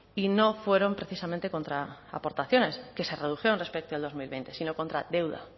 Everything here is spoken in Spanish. y no fueron precisamente contra aportaciones que se redujeron respecto al dos mil veinte sino contra deuda